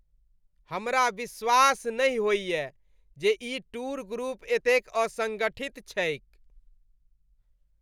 हमरा विश्वास नहि होइए जे ई टूर ग्रुप एतेक असंगठित छैक ।